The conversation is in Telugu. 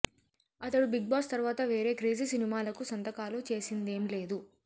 అతడు బిగ్ బాస్ తర్వాత వేరే క్రేజీ సినిమాలకు సంతకాలు చేసిందేం లేదు